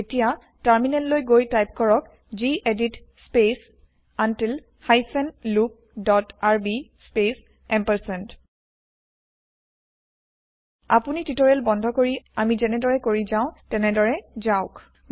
এতিয়া টাৰ্মিনেল লৈ গৈ টাইপ কৰক gedit space until hyphen loop dot R B space আপুনি টিওটেৰিয়েল বন্ধ কৰি আমি যেনেদৰে কৰি যাও তেনেদৰে যাওক